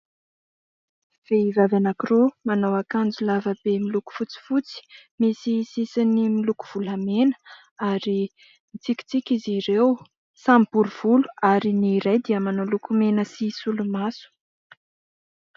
Vehivavy anankiroa manao akanjo lavabe liloko fotsifotsy misy sisiny miloko volamena ary mitsikitsiky izy ireo. Samy bory volo ary ny iray dia manao lokomena sy solomaso.